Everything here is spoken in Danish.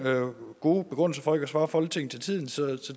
god begrundelse for ikke at svare folketinget til tiden så